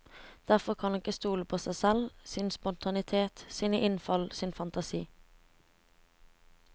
Derfor kan han ikke stole på seg selv, sin spontanitet, sine innfall, sin fantasi.